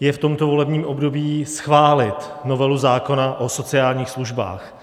je v tomto volebním období schválit novelu zákona o sociálních službách.